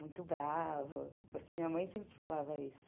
Muito brava, porque minha mãe sempre falava isso.